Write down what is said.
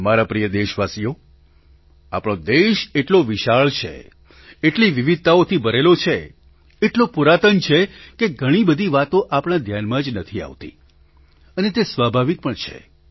મારા પ્રિય દેશવાસીઓ આપણો દેશ એટલો વિશાળ છે એટલી વિવિધતાઓથી ભરેલો છે એટલો પુરાતન છે કે ઘણી બધી વાતો આપણા ધ્યાનમાં જ નથી આવતી અને તે સ્વાભાવિક પણ છે